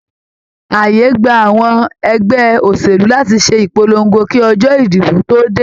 Ààyè gbà àwọn ẹgbẹ́ òṣèlú láti ṣe ìpolongo kí ọjọ́ ìdìbò tó dé.